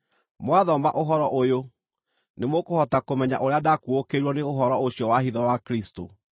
Mwathoma ũhoro ũyũ, nĩmũkũhota kũmenya ũrĩa ndaakuũkĩirwo nĩ ũhoro ũcio wa hitho wa Kristũ,